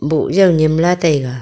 boh jaw nyem lah taiga.